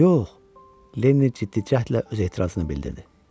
Yox, Lenni ciddi cəhdlə öz etirazını bildirdi.